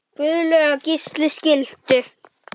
Geta þeir þá líka sokkið.